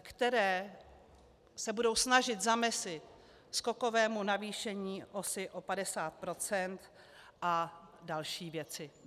které se budou snažit zamezit skokovému navýšení OSA o 50 % a další věci.